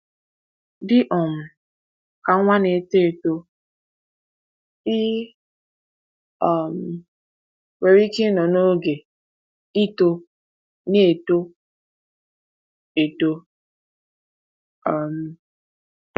Dị um ka nwa na-eto eto, ị um nwere ike ịnọ n’oge “ịtọ n’eto eto” um.